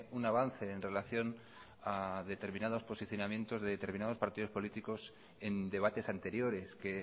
un avance en relación a determinados posicionamientos de determinados partidos políticos en debates anteriores que